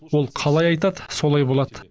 ол қалай айтады солай болады